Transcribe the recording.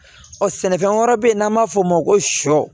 Ɔ sɛnɛfɛn wɛrɛ bɛ yen n'an b'a fɔ o ma ko sɔ